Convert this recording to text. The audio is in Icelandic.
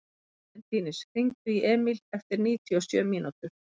Valentínus, hringdu í Emíl eftir níutíu og sjö mínútur.